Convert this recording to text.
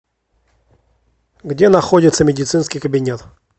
где находится медицинский кабинет